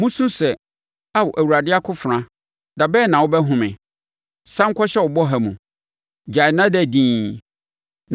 “Mosu sɛ, ‘Aa Awurade akofena, da bɛn na wobɛhome? Sane kɔhyɛ wo bɔha mu; gyae na da dinn.’